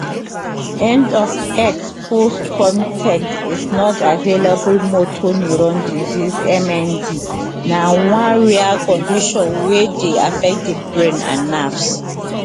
end of x post con ten t is not available motor neurone disease mnd na one rare condition wey dey affect di brain and nerves